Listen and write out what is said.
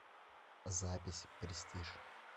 запись престиж